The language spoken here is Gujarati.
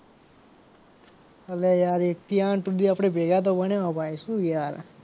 અલ્યા યાર એક થી આઠ સુધી આપડે ભેગા તો ભણેલા ભાઈ શું યાર.